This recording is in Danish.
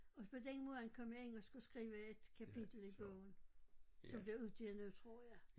Og på den måde kom jeg ind og skulle skrive et kapitel i bogen som bliver udgivet nu tror jeg